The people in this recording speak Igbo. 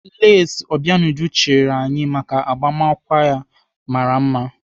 Lesị Obianuju chịrị anyị maka agbamakwụkwọ ya mara mma.